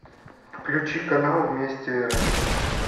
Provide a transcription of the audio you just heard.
включи канал вместе рф